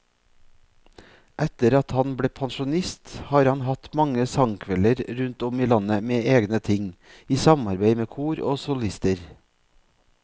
Etter at han ble pensjonist har han hatt mange sangkvelder rundt om i landet med egne ting, i samarbeid med kor og solister.